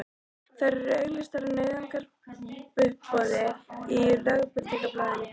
Þær eru auglýstar á nauðungaruppboði í Lögbirtingablaðinu í dag!